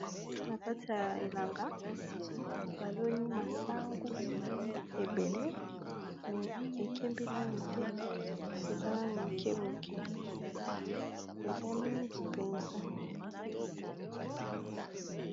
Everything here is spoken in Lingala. Na kati ya elanga ba loni masangu ebele me ekembi nano te eza nanu moke moke eza mingi mpenza.